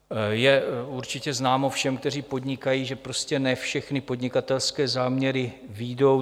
Je určitě známo všem, kteří podnikají, že prostě ne všechny podnikatelské záměry vyjdou.